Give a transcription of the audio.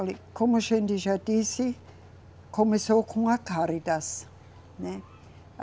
Olhe, como a gente já disse, começou com a Cáritas, né?